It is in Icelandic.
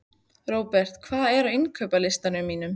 Robert, hvað er á innkaupalistanum mínum?